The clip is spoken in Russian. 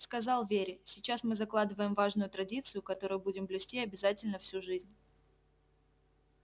сказал вере сейчас мы закладываем важную традицию которую будем блюсти обязательно всю жизнь